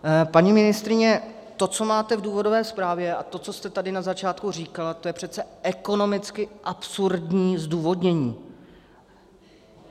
Paní ministryně, to, co máte v důvodové zprávě, a to, co jste tady na začátku říkala, to je přece ekonomicky absurdní zdůvodnění.